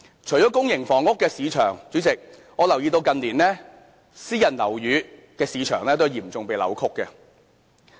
除了公營房屋的市場外，主席，我留意到近年私人樓宇的市場都有嚴重被扭曲。